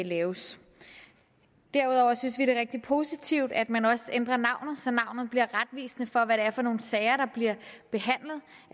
laves derudover synes vi det er rigtig positivt at man også ændrer navnet så navnet bliver retvisende for hvad det er for nogle sager der bliver behandlet